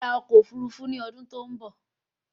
Máa ra ọkọ òfurufú ní ọdún tó n bọ